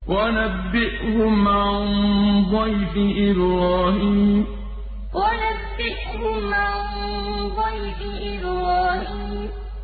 وَنَبِّئْهُمْ عَن ضَيْفِ إِبْرَاهِيمَ وَنَبِّئْهُمْ عَن ضَيْفِ إِبْرَاهِيمَ